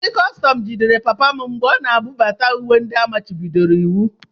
Ndị kọstọm jidere papa m mgbe ọ na-ebubata uwe ndị a machibidoro iwu.